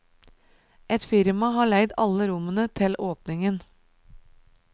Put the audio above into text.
Ett firma har leid alle rommene til åpningen.